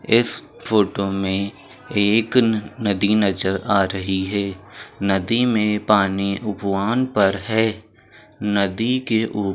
इस फोटो में एक नदी नजर आ रही है नदी में पानी उपवान पर है | नदी के उ--